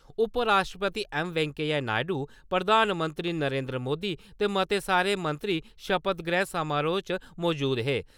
उपराश्ट्रपति ऐम्म. वैंकेया नायडू, प्रधानमंत्री नरेंद्र मोदी ते मते सारे मंत्री शपथ ग्रैह्ण समारोह् च मजूद हे।